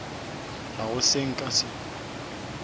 ga go se nka se